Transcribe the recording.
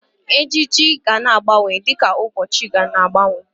Ejiji gana agbanwe di ka ụbọchị na-agbanwe.